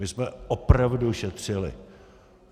My jsme opravdu šetřili.